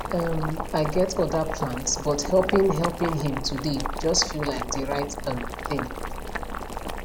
um i get other plans but helping helping him today just feel like the right um thing